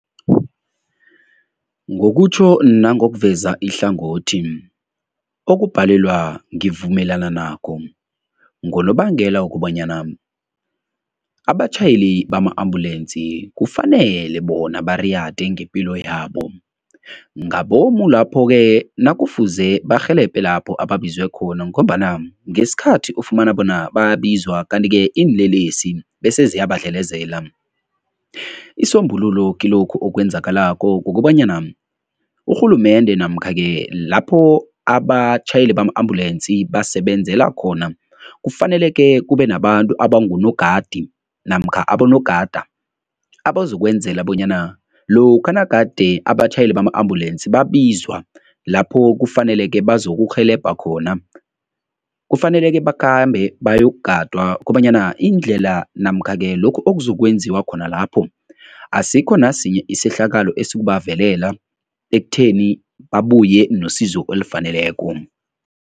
Ngokutjho nangokuveza ihlangothi, okubhalelwa ngivumelana nakho ngonobangela wokobanyana abatjhayeli bama-ambulensi kufanele bona bariyade ngepilo yabo ngabomu lapho-ke nakufuze barhelebhe lapho ababizwe khona ngombana ngesikhathi ufumana bona babizwa, kanti-ke iinlelesi bese ziyabadlelezela. Isisombululo kilokhu okwenzakalako kukobanyana urhulumende namkha-ke lapho abatjhayeli bama-ambulensi basebenzela khona kufaneleke kube nabantu abangunogadi namkha abonogada abazokwenzela bonyana lokha nagade abatjhayeli bama-ambulensi babizwa lapho kufaneleke bazokurhelebha khona, kufaneleke bakhambe bayokugadwa kobanyana indlela namkha-ke lokhu okuzokwenziwa khona lapho, asikho nasinye isehlakalo esizokubavelela ekutheni babuye nosizo olufaneleko.